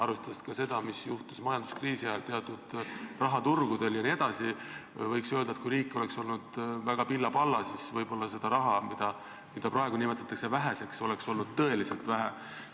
Arvestades seda, mis juhtus majanduskriisi ajal teatud rahaturgudel jne, võiks öelda, et kui riik oleks olnud väga pilla-palla, siis võib-olla seda raha, mida praegu nimetatakse väheseks, oleks olnud tõeliselt vähe.